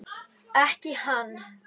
Ekki hann.